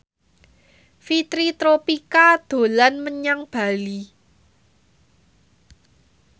Fitri Tropika dolan menyang Bali